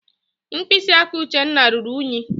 Mkpịsị aka Uchenna ruru ùnyí.